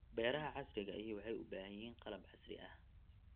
Beeraha casriga ahi waxay u baahan yihiin qalab casri ah.